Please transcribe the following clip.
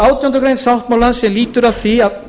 átjándu grein sáttmálans lýtur meðal annars að